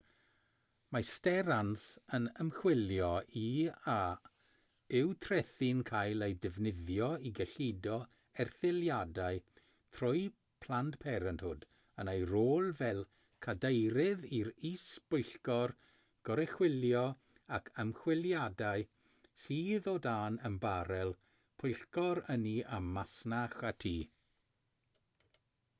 mae sterans yn ymchwilio i a yw trethi'n cael eu defnyddio i gyllido erthyliadau trwy planned parenthood yn ei rôl fel cadeirydd yr is-bwyllgor goruchwylio ac ymchwiliadau sydd o dan ymbarél pwyllgor ynni a masnach y tŷ